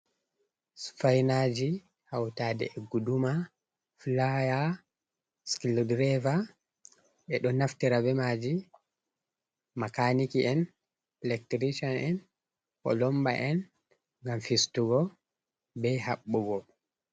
Sufainaji hautade e guduma, fulaya, skil diraiva, ɓeɗo naftira bemaji makaniki'en, electirician en, polomba en, gam fistugo be habbugo.